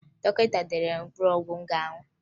Dọkịta denyere m mkpụrụ ọgwụ m ga-aṅụ